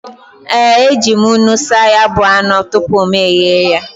E, e ji m nnu saa ya bụ anụ tupu m ghee ya.